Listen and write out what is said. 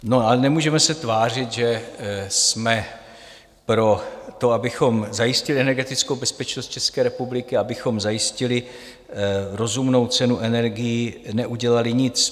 No ale nemůžeme se tvářit, že jsme pro to, abychom zajistili energetickou bezpečnost České republiky, abychom zajistili rozumnou cenu energií, neudělali nic.